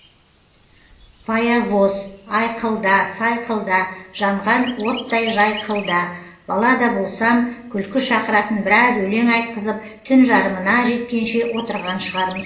паявоз айқылда сайқылда жанған оттай жайқылда бала да болсам күлкі шақыратын біраз өлең айтқызып түн жарымына жеткенше отырған шығармыз